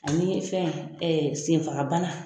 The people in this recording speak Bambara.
Ani fɛn senfagabana.